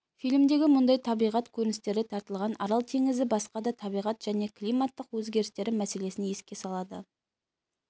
фильмдегі мұндай табиғат көріністері тартылған арал теңізін басқа да табиғат және климаттың өзгерістері мәселесін еске салады